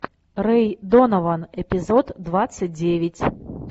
рэй донован эпизод двадцать девять